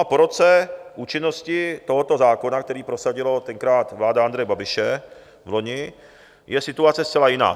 A po roce účinnosti tohoto zákona, který prosadila tenkrát vláda Andreje Babiše, vloni, je situace zcela jiná.